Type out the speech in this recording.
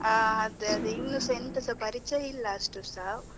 ಹಾ, ಅದೇ ಅದೇ ಇನ್ನುಸ ಎಂತಸ ಪರಿಚಯ ಇಲ್ಲ ಅಷ್ಟುಸಾ.